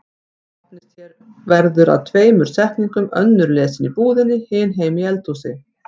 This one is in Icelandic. Opnist hér verður að tveimur setningum, önnur lesin í búðinni, hin heima í eldhúsi.